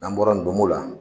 N'an bɔra nin la